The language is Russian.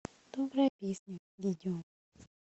добрая песня видео